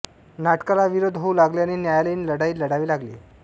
नाटकाला विरोध होऊ लागल्याने न्यायालयीन लढाई लढावी लागली